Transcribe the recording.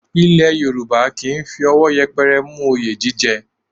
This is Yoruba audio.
Ilẹ̀ Yorùbá kì í fi owo yẹpẹrẹ mú oyè jíjẹ